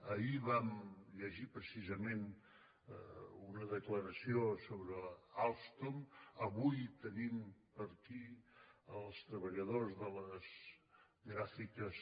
ahir vam llegir precisament una declaració sobre alstom avui tenim per aquí els treballadors de les gráficas